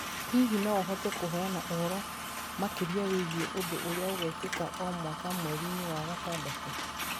Hihi no ũhote kũheana ũhoro makĩria wĩgiĩ ũndũ ũrĩa ũgekĩka o mwaka mweri-inĩ wa gatandatũ.